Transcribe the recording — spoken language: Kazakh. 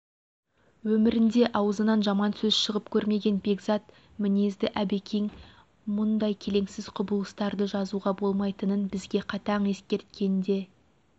өмірінде аузынан жаман сөз шығып көрмеген бекзат мінезді әбекең мұндай келеңсіз құбылыстарды жазуға болмайтынын бізге қатаң ескерткен де